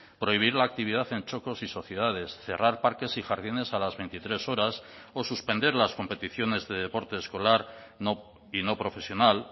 prohibir la actividad en txokos y sociedades cerrar parques y jardines a las veintitrés horas o suspender las competiciones de deporte escolar y no profesional